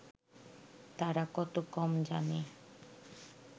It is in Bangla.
তারা কত কম জানে